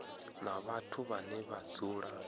na vhathu vhane vha dzula